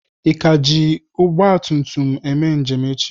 Ị ka na-eji ọgba tum tum eme njem echi?